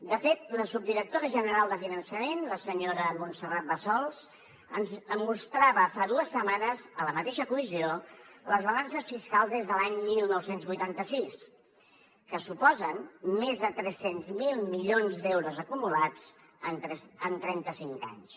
de fet la subdirectora general de finançament la senyora montserrat bassols ens mostrava fa dues setmanes a la mateixa comissió les balances fiscals des de l’any dinou vuitanta sis que suposen més de tres cents miler milions d’euros acumulats en trenta cinc anys